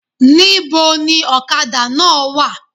Ní bo ni òkadà náà wa?